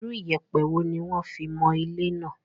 Irú ìyẹ̀pẹ̀ wo ni wón fi mọ ilé náà?